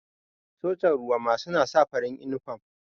Sojan ruwa ma suna saka farin inifam